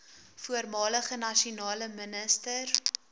voormalige nasionale minister